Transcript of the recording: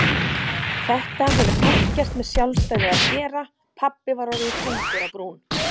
Þetta hefur ekkert með sjálfstæði að gera pabbi var orðinn þungur á brún.